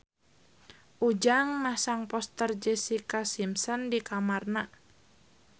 Ujang masang poster Jessica Simpson di kamarna